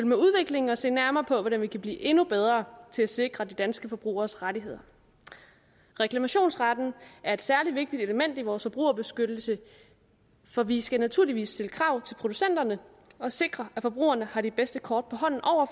med udviklingen og se nærmere på hvordan vi kan blive endnu bedre til at sikre de danske forbrugeres rettigheder reklamationsretten er et særlig vigtigt element i vores forbrugerbeskyttelse for vi skal naturligvis stille krav til producenterne og sikre at forbrugerne har de bedste kort på hånden over